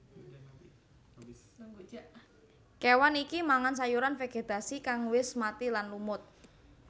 Kéwan iki mangan sayuran vegetasi kang wis mati lan lumut